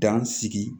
Dan sigi